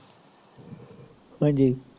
ਹਾਂਜੀ